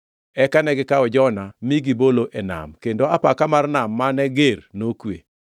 Eka negikawo Jona mi gibolo e nam, kendo apaka mar nam mane ger nokwe.